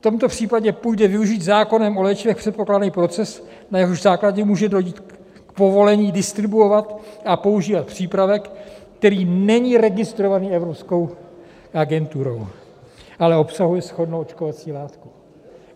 V tomto případě půjde využít zákonem o léčivech předpokládaný proces, na jehož základě může dojít k povolení distribuovat a používat přípravek, který není registrovaný Evropskou agenturou, ale obsahuje shodnou očkovací látku.